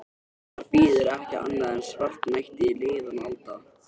Þar bíður ekki annað en svartnætti liðinna alda.